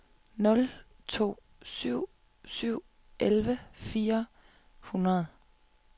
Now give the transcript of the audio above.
nul to syv syv elleve fire hundrede